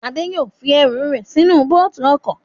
Adé yóò fi ẹrù rẹ̀ sí inú bóòtù ọkọ̀